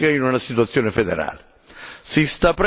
più strategica, in una situazione federale.